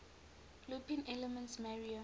looping elements mario